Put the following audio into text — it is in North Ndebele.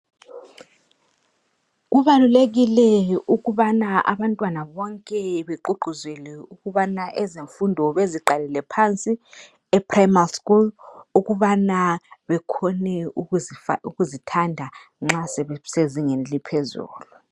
Kubalulekile ukubana abantwana bonke begqugquzelwe ukubana ezemfundo beziqalele phansi ePrimary school ukubana bekhone ukuzithanda nxa sebesezingeni eliphezulu.